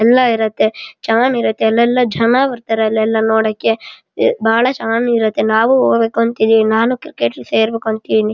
ಎಲ್ಲ ಇರುತ್ತೆ ಚೆನ್ನಾಗ್ ಇರುಥೆ ಅಲ್ಲೆಲ್ಲ ಜನ ಬರ್ತಾರೆ ನೋಡಕೆ ಬಹಳ ಚೆನ್ನಾಗ್ ಇರುಥೆ ನಾವು ಹೋಗ್ಬೇಕು ಅಂತಿದ್ದ್ದೀವಿ ನಾನು ಕ್ರಿಕೆಟ್ ಗೆ ಸೇರ್ಬೇಕು ಅಂದ್ಕೊಂಡಿದ್ದೀನಿ.